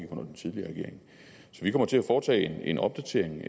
vi kommer til at foretage en opdatering